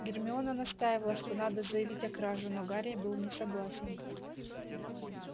гермиона настаивала что надо заявить о краже но гарри был не согласен